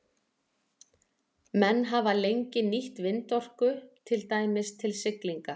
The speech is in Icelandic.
Menn hafa lengi nýtt vindorku, til dæmis til siglinga.